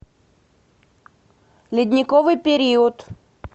ледниковый период